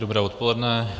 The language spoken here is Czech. Dobré odpoledne.